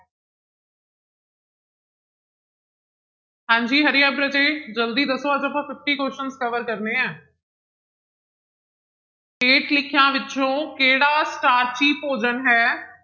ਹਾਂਜੀ hurry up ਰਾਜੇ ਜ਼ਲਦੀ ਦੱਸੋ ਅੱਜ ਆਪਾਂ fifty questions cover ਕਰਨੇ ਹੈ ਹੇਠ ਲਿਖਿਆਂ ਵਿੱਚੋਂ ਕਿਹੜਾ ਸਟਾਰਚੀ ਭੋਜਨ ਹੈ?